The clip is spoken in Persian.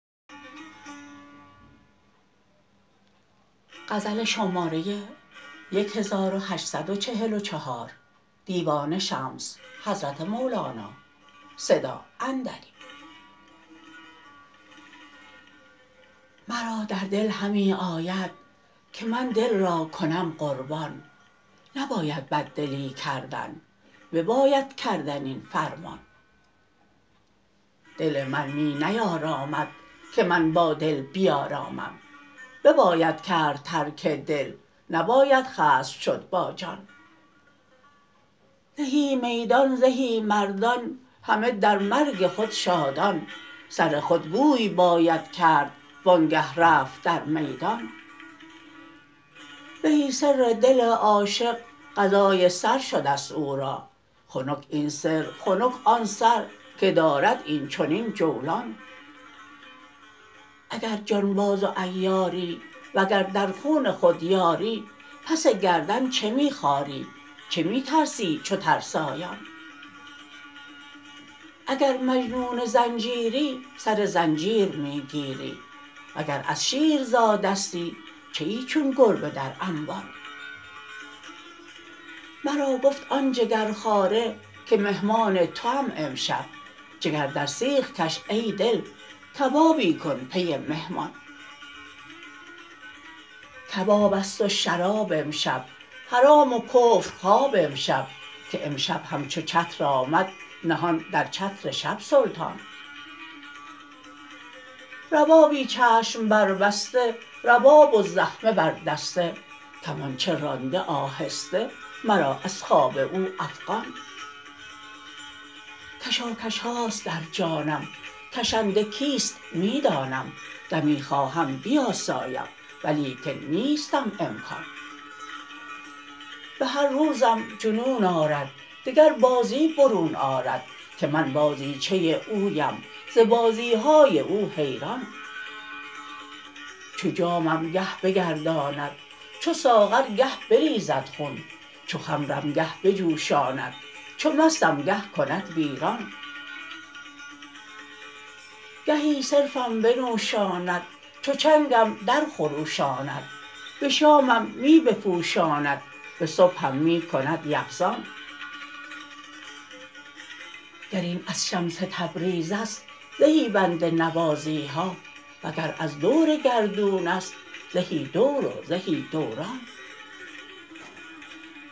مرا در دل همی آید که من دل را کنم قربان نباید بددلی کردن بباید کردن این فرمان دل من می نیارامد که من با دل بیارامم بباید کرد ترک دل نباید خصم شد با جان زهی میدان زهی مردان همه در مرگ خود شادان سر خود گوی باید کرد وانگه رفت در میدان زهی سر دل عاشق قضای سر شده او را خنک این سر خنک آن سر که دارد این چنین جولان اگر جانباز و عیاری وگر در خون خود یاری پس گردن چه می خاری چه می ترسی چو ترسایان اگر مجنون زنجیری سر زنجیر می گیری وگر از شیر زادستی چه ای چون گربه در انبان مرا گفت آن جگرخواره که مهمان توام امشب جگر در سیخ کش ای دل کبابی کن پی مهمان کباب است و شراب امشب حرام و کفر خواب امشب که امشب همچو چتر آمد نهان در چتر شب سلطان ربابی چشم بربسته رباب و زخمه بر دسته کمانچه رانده آهسته مرا از خواب او افغان کشاکش هاست در جانم کشنده کیست می دانم دمی خواهم بیاسایم ولیکن نیستم امکان به هر روزم جنون آرد دگر بازی برون آرد که من بازیچه اویم ز بازی های او حیران چو جامم گه بگرداند چو ساغر گه بریزد خون چو خمرم گه بجوشاند چو مستم گه کند ویران گهی صرفم بنوشاند چو چنگم درخروشاند به شامم می بپوشاند به صبحم می کند یقظان گر این از شمس تبریز است زهی بنده نوازی ها وگر از دور گردون است زهی دور و زهی دوران